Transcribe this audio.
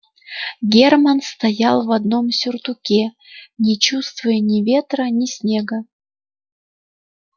германн стоял в одном сюртуке не чувствуя ни ветра ни снега